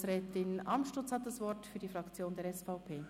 – Grossrätin Amstutz hat das Wort für die Fraktion der SVP.